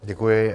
Děkuji.